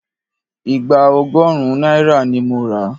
Ìgbá ọgọ́run náírà ni mo ra.